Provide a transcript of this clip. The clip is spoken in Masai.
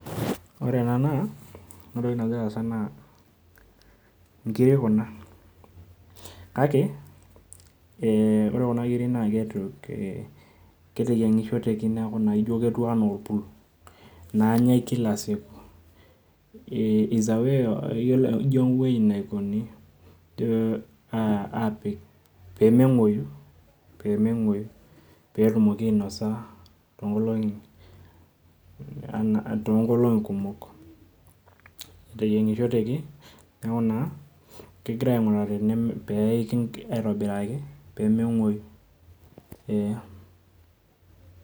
Ore ena naa nkirik kuna, kake ee ore kuna kirik na keteyiongishoreki neaku ketiu anaa orpul, nanyae kila siku, ijo ewoi napiki pemengueu petumoki ainasa tonkolongi kumok, eteyingishoreki neaku kegira ainguraa peiki aitobiraki pemengueu eeh.